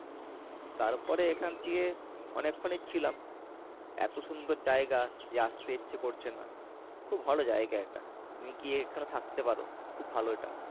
তারপরে এখান থেকে অনেকক্ষণ ছিলাম। এত সুন্দর জায়গা যে আসতে ইচ্ছে করছে না। খুব ভালো জায়গা এটা। তুমি গিয়ে এখানে থাকতে পারো। খুব ভালো এটা।